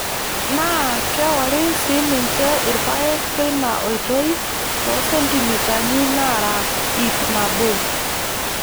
Naa keori sii ninche irpaek teina oitoi too sentimitani naara ipnabo.